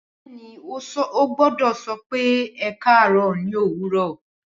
Bẹẹni o gbọdọ sọ pé ẹkarọ ni owurọ